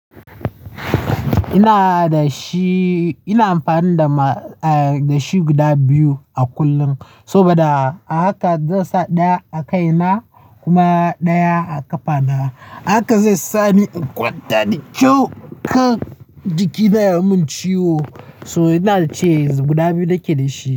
Ina da shi, ina amfani da shi guda biyu a kullum saboda haka zan sa ɗaya a kaina kuma ɗaya a ƙafana. Haka zai sa ni in kwanta da kyau kan jikina ya mun ciwo so ina da chains guda biyu nake da shi.